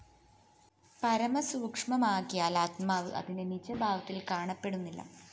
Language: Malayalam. പരമസൂക്ഷ്മമാകയാല്‍ ആത്മാവ്‌ അതിന്റെ നിജഭാവത്തില്‍ കാണപ്പെടുന്നില്ല